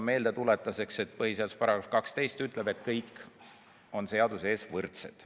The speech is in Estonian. Meeldetuletuseks, et põhiseaduse § 12 ütleb, et kõik on seaduse ees võrdsed.